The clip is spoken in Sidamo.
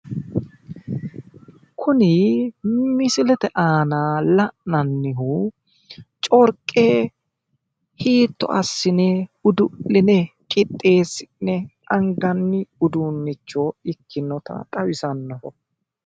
Kuni misilete aana la'nannihu corqe hiitto assine udu'line qixxeessi'ne anganni uduunnicho ikkinota xawisannoho